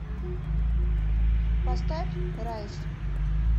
поставь райс